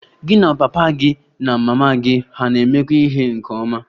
Gị na papa gị na mama gị hà na-emekọ ihe nke ọma?